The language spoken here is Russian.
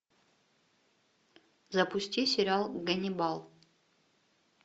запусти сериал ганнибал